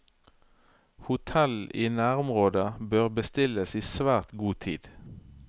Hotell i nærområdet bør bestilles i svært god tid.